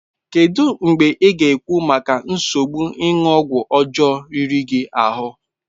Kedu mgbe ị ga-ekwu maka nsogbu ịṅụ ọgwụ ọjọọ riri gị ahụ?